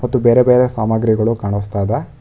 ಮತ್ತು ಬೇರೆ ಬೇರೆ ಸಾಮಾಗ್ರಿಗಳು ಕಾಣುಸ್ತಾ ಇದೆ.